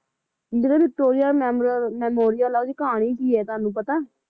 ਜਿਹੜੀ ਵਿਕਟੋਰਿਆ ਮੈਮੋਰਲ`ਮੈਸੋਰਿਅਲ ਹੈ ਉਹਦੀ ਕਹਾਣੀ ਕੀ ਹੈ ਤੁਹਾਨੂੰ ਪਤਾ